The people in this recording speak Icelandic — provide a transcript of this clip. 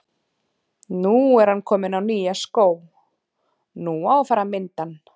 Nú er ann kominn á nýja skó, nú á að fara að mynda ann.